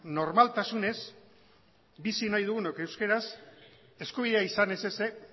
normaltasunez bizi nahi dugunok euskaraz eskubidea izan ez ezik